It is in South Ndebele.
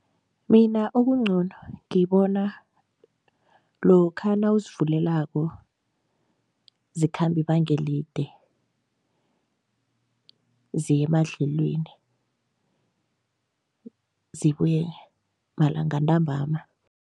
Mina okungcono ngibona lokha nawuzivulelako zikhamba ibanga elide, ziye emadlelweni, zibuye malanga ntambama.